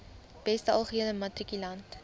beste algehele matrikulant